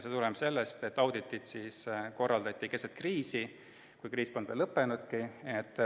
See tuleneb sellest, et audit korraldati keset kriisi, kriis polnud veel lõppenudki.